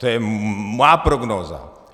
To je má prognóza.